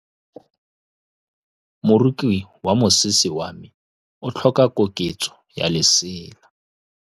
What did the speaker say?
Moroki wa mosese wa me o tlhoka koketsô ya lesela.